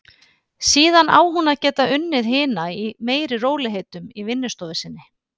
Síðan á hún að geta unnið hina í meiri rólegheitum í vinnustofu sinni.